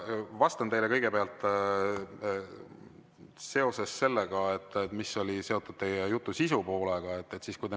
Vastan teile kõigepealt seoses teie jutu sisupoolega.